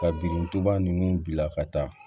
Ka birintuba nunnu bila ka taa